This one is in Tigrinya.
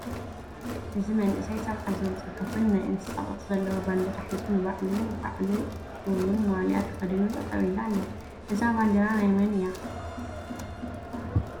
እዚ መንእሰይ ሰብዓ ዝብል ፅሕፉን ናይ ኣንበሳ ቅርፂ ዘለዎ ባንዴራ ሒዙ ንባዕሉ ባዕ ሉ እውነ ማልያ ተከዲኑ ጠጠው ኢሉ ኣሎ። እዛ ባንዴራ ናይ መን እያ?